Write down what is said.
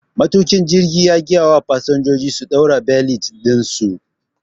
Matuƙin jirgin Ya gayawa fasinjojin su ɗaura belet ɗinsu.